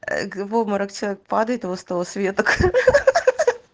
в обморок падает с того света хахаха